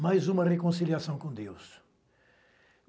Mais uma reconciliação com Deus.